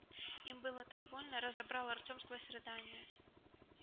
им было так больно разобрал артем сквозь рыдания